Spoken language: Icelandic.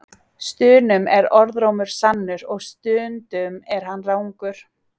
Stunum er orðrómur sannur og stundum er hann rangur.